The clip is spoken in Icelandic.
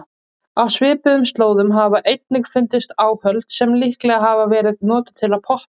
Á svipuðum slóðum hafa einnig fundist áhöld sem líklega hafa verið notuð til að poppa.